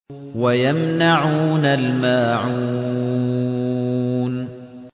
وَيَمْنَعُونَ الْمَاعُونَ